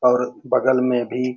और बगल में भी --